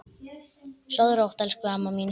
Sofðu rótt, elsku amma mín.